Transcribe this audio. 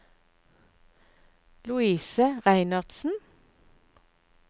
Louise Reinertsen